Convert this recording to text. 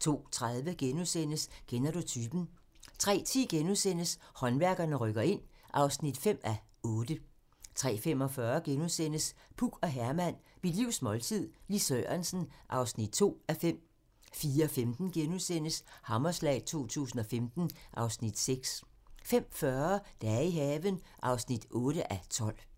02:30: Kender du typen? * 03:10: Håndværkerne rykker ind (5:8)* 03:45: Puk og Herman - mit livs måltid - Lis Sørensen (2:5)* 04:15: Hammerslag 2015 (Afs. 6)* 05:40: Dage i haven (8:12)